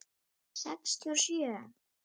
Sextíu og sjö.